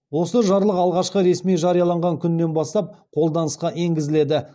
осы жарлық алғашқы ресми жарияланған күнінен бастап қолданысқа енгізіледі